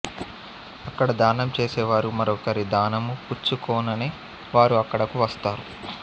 అక్కడ దానం చేసే వారు మరొకరి దానము పుచ్చుకొనని వారు అక్కడకు వస్తారు